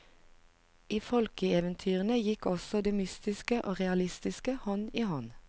I folkeeventyrene gikk også det mystiske og realistiske hånd i hånd.